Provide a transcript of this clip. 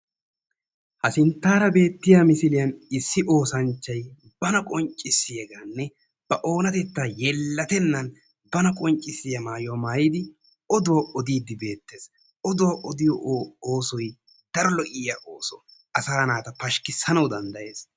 Ha sinttaara betiya misiliyan issi oosanchchay bana qonccissiyagaanne ba oonatettan yelattenaan bana qonccissiya maayuwa maayidi oduwa odiiddi bettees, oduwa odiyo oosoy daro lo"iya ooso, asaa naata pashkkissanawu danddayees.